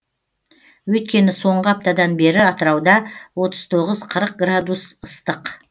өйткені соңғы аптадан бері атырауда отыз тоғыз қырық градус ыстық